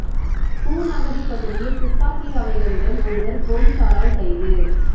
பூநகரிப் பகுதியில் துப்பாக்கி ரவைகளுடன் ஒருவர் பொலிசாரால் கைது